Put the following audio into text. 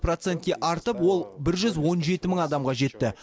процентке артып ол бір жүз он жеті мың адамға жетті